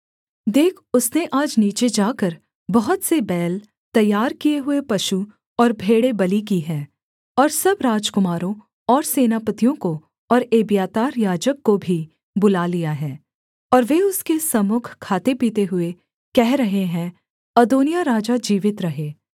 देख उसने आज नीचे जाकर बहुत से बैल तैयार किए हुए पशु और भेड़ें बलि की हैं और सब राजकुमारों और सेनापतियों को और एब्यातार याजक को भी बुला लिया है और वे उसके सम्मुख खाते पीते हुए कह रहे हैं अदोनिय्याह राजा जीवित रहे